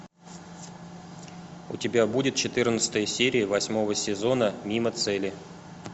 у тебя будет четырнадцатая серия восьмого сезона мимо цели